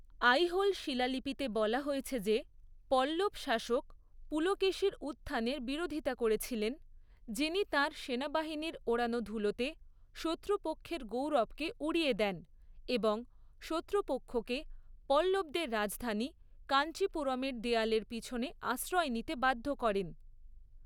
আইহোল শিলালিপিতে বলা হয়েছে যে, পল্লব শাসক পুলকেশীর উত্থানের বিরোধিতা করেছিলেন, যিনি তাঁর সেনাবাহিনীর ওড়ানো ধূলোতে শত্রুপক্ষের গৌরবকে উড়িয়ে দেন এবং শত্রুপক্ষকে পল্লবদের রাজধানী কাঞ্চিপুরমের দেয়ালের পিছনে আশ্রয় নিতে বাধ্য করেন।